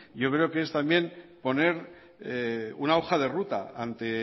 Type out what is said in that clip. yo creo que es también poner una hoja de ruta ante